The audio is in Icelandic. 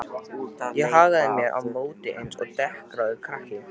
Ég hagaði mér á móti eins og dekraður krakki.